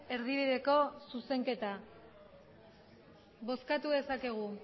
erdibideko zuzenketa bozkatu dezakegu